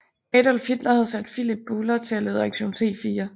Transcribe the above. Adolf Hitler havde sat Philipp Bouhler til at lede Aktion T4